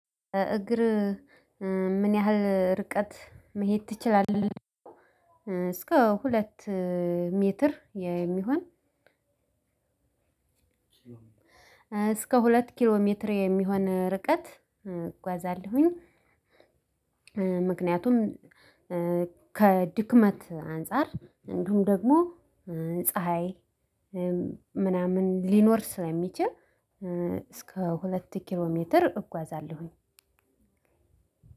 በእግር ምን ያህል ርቀት መሄድ ትችላለህ እስከ ሁለት ሜትር? እስከ ሁለት ኪሎ ሜትር የሚሆን ርቀት እጓዛለሁኝ። ምክንያቱም ከድክመት አንፃር እንዲሁም ደግሞ ፀሀይ ምናምን ሊኖር ስለሚችል እስከ ሁለት ኪሎ ሜትር እጓዛለሁኝ።